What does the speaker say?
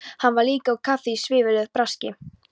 Hann var líka á kafi í svívirðilegu braski.